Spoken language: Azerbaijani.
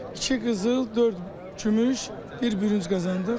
İki qızıl, dörd gümüş, bir bürünc qazandıq.